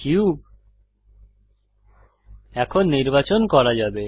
cube এখন নির্বাচন করা যাবে